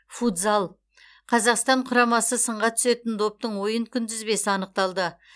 футзал қазақстан құрамасы сынға түсетін доптың ойын күнтізбесі анықталды